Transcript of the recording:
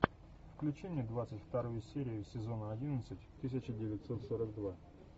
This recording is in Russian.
включи мне двадцать вторую серию сезона одиннадцать тысяча девятьсот сорок два